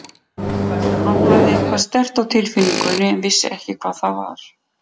Hann hafði eitthvað sterkt á tilfinningunni en vissi ekki hvað það var.